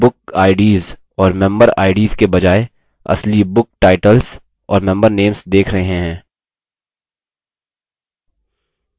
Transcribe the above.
और names list boxes में book ids और member ids के बजाय असली book titles और member names देख रहे हैं